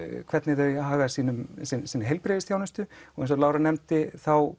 hvernig þau haga sinni heilbrigðisþjónustu og eins og Lára nefndi